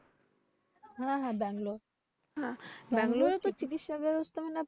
হ্যাঁ হ্যাঁ ব্যাঙ্গালোর হ্যাঁ ব্যাঙ্গালোরে তো চিকিৎসা ব্যবস্থা